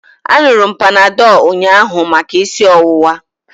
Aṅụru m Panadọlụ ụnyaahụ maka isi ọwụwa.